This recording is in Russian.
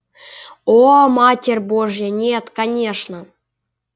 о матерь божья нет конечно